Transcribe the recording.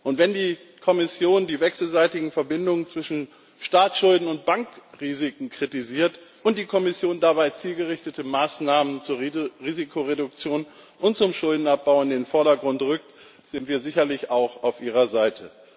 Und wenn die Kommission die wechselseitigen Verbindungen zwischen Staatsschulden und Bankrisiken kritisiert und dabei zielgerichtete Maßnahmen zur Risikoreduktion und zum Schuldenabbau in den Vordergrund rückt, sind wir sicherlich auch auf ihrer Seite.